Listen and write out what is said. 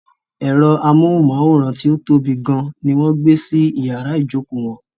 Ẹ̀rọ amóhùnmáwòrán tí ó tóbi gan ní wọ́n gbé sí iyàrá ìjókò wọn.